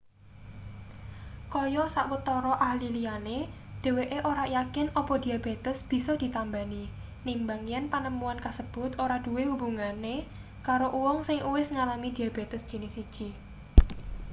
kaya sawetara ahli liyane dheweke ora yakin apa diabetes bisa ditambani nimbang yen panemuan kasebut ora duwe hubungane karo uwong sing uwis ngalami diabetes jinis 1